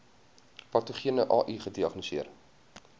patogene ai gediagnoseer